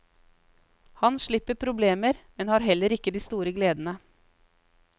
Han slipper problemer, men har heller ikke de store gledene.